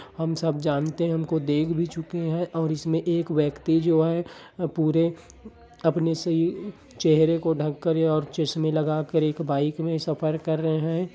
हम सब जानते है हमको देख भी चुके है और इसमे एक व्यक्ति जो है पूरे अपने से चहरे को ढँक कर और ये चश्मे लगा कर और एक बाइक में सफर कर रहे है।